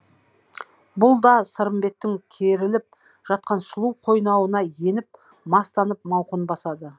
бұл да сырымбеттің керіліп жатқан сұлу қойнауына еніп мастанып мауқын басады